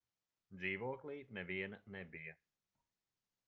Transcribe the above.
dzīvoklī neviena nebija